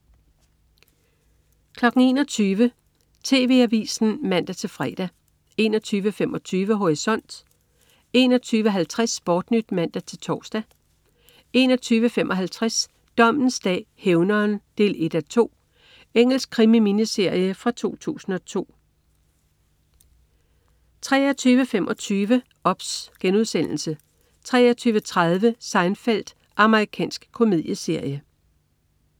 21.00 TV Avisen (man-fre) 21.25 Horisont 21.50 SportNyt (man-tors) 21.55 Dommens dag: Hævneren 1:2. Engelsk krimi-miniserie fra 2002 23.25 OBS* 23.30 Seinfeld. Amerikansk komedieserie